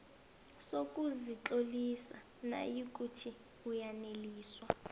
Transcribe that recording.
sokuzitlolisa nayikuthi uyaneliswa